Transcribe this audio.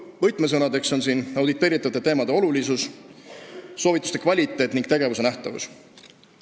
Võtmesõnadeks on siin auditeeritavate teemade olulisus, soovituste kvaliteet ja tegevuse nähtavus.